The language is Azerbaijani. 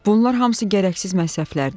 Bunlar hamısı gərəksiz məsrəflərdir.